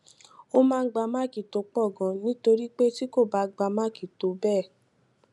ó máa ń gba máàkì tó pò ganan nítorí pé tí kò bá gba máàkì tó pò tó béè